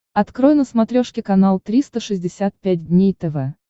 открой на смотрешке канал триста шестьдесят пять дней тв